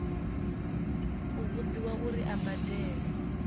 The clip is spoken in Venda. u vhudziwa uri a badele